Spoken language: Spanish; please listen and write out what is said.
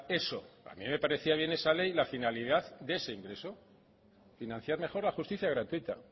eso a mí me parecía bien esa ley la finalidad de ese ingreso financiar mejor la justicia gratuita